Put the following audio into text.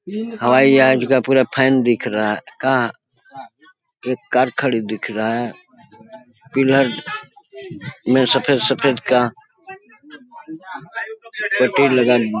हवाई जहाज़ का पुरा फैन दिख रहा का एक कार खड़ी दिख रहा है पिलर में सफ़ेद-सफ़ेद का पुट्टी लगल--